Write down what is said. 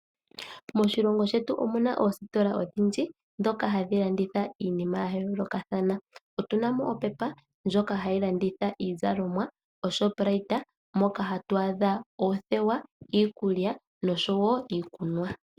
Moshilongo shetu omu na oositola odhindji, ndhoka hadhi landitha iinima ya yoolokathana. Otu na mo oPep , ndjoka hayi landitha Iizalomwa noShoprite moka hatu adha oothewa, iikulya nosho wo iikunwa.